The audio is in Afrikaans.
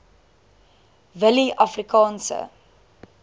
willieafrikaanse